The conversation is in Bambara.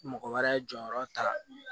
Mɔgɔ wɛrɛ jɔyɔrɔ ta